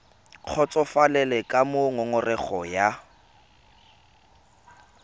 kgotsofalele ka moo ngongorego ya